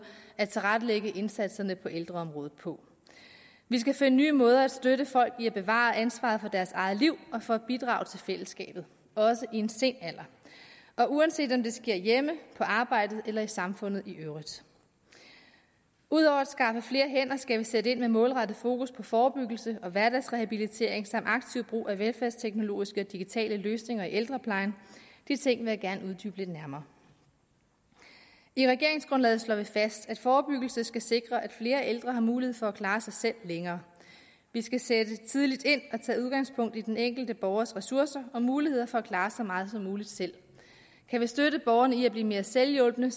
at tilrettelægge indsatserne på ældreområdet på vi skal finde nye måder at støtte folk i at bevare ansvaret for deres eget liv og for at bidrage til fællesskabet også i en sen alder uanset om det sker hjemme på arbejdet eller i samfundet i øvrigt ud over at skaffe flere hænder skal vi sætte ind med målrettet fokus på forebyggelse og hverdagsrehabilitering samt aktiv brug af velfærdsteknologiske og digitale løsninger i ældreplejen de ting vil jeg gerne uddybe lidt nærmere i regeringsgrundlaget slår vi fast at forebyggelse skal sikre at flere ældre har mulighed for at klare sig selv længere vi skal sætte tidligt ind og tage udgangspunkt i den enkelte borgers ressourcer og muligheder for at klare så meget som muligt selv kan vi støtte borgerne i at blive mere selvhjulpne